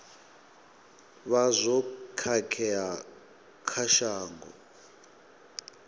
vha zwo khakhea kha shango